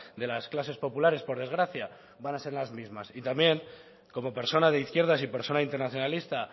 de las clases populares por desgracia van a ser las mismas y también como persona de izquierdas y persona internacionalista